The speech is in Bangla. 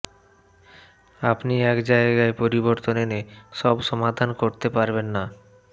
আপনি এক জায়গায় পরিবর্তন এনে সব সমাধান করতে পারবেন না